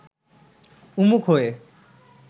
উন্মুখ হয়ে